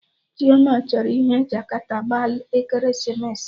Ada chọrọ ihe Jakata gbaa ekeresimesi